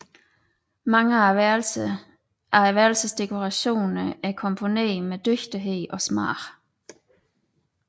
Mange af værelsernes dekorationer er komponerede med dygtighed og smag